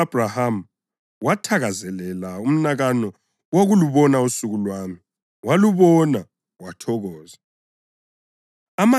Uyihlo u-Abhrahama wathakazelela umnakano wokulubona usuku lwami; walubona wathokoza.”